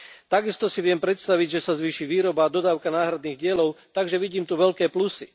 Tak isto si viem predstaviť, že sa zvýši výroba a dodávka náhradných dielov, takže vidím tu veľké plusy.